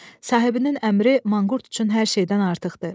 Sahibinin əmri manqurt üçün hər şeydən artıqdır.